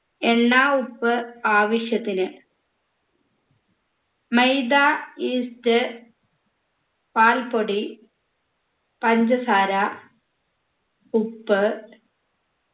എണ്ണ ഉപ്പ് ആവശ്യത്തിന് മൈദ yeast പാൽപ്പൊടി പഞ്ചസാര ഉപ്പ്